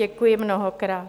Děkuji mnohokrát.